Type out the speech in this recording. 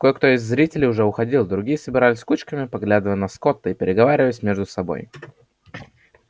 кое-кто из зрителей уже уходил другие собирались кучками поглядывая на скотта и переговариваясь между собой